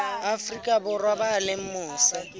afrika borwa ba leng mose